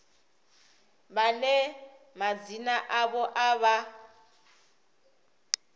vhane madzina avho a vha